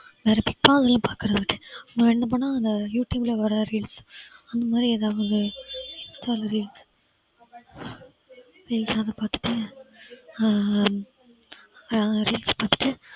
வேற bigg boss எல்லாம் பார்க்குறது இல்ல. என்ன பண்ண அந்த youtube ல வர reels அந்த மாதிரி ஏதாவது insta ல reels reels எல்லாம் பார்த்துட்டு அஹ் reels பார்த்துட்டு ஆஹ்